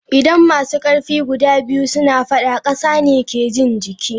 Idan masu karfi guda biyu suna fadda, kasa ne ke jin jiki.